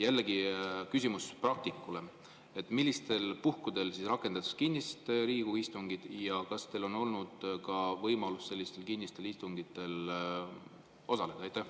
Jällegi küsimus praktikule: millistel puhkudel rakendatakse kinnist Riigikogu istungit ja kas teil on olnud ka võimalus sellistel kinnistel istungitel osaleda?